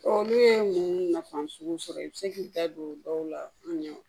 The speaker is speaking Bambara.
Olu ye mun nafan sugu sɔrɔ i be se k'i da don dɔw la an ɲɛ